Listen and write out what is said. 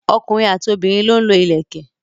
ọkùnrin àti obìnrin lọ ń lo ìlẹ̀kẹ̀.